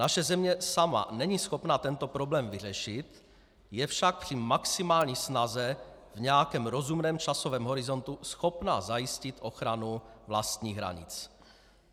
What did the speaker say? Naše země sama není schopna tento problém vyřešit, je však při maximální snaze v nějakém rozumném časovém horizontu schopna zajistit ochranu vlastních hranic.